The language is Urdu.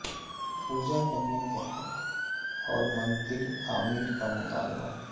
پوجا کرنے کے حق اور مندر تعمیر کا مطالبہ